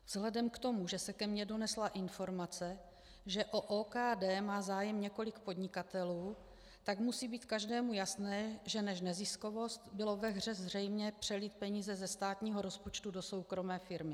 Vzhledem k tomu, že se ke mně donesla informace, že o OKD má zájem několik podnikatelů, tak musí být každému jasné, že než neziskovost bylo ve hře zřejmě přelít peníze ze státního rozpočtu do soukromé firmy.